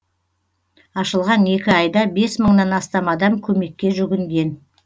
ашылған екі айда бес мыңнан астам адам көмекке жүгінген